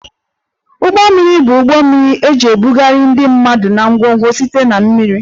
Ụgbọ mmiri bụ ụgbọ mmiri eji ebugharị ndị mmadụ na ngwongwo site na mmiri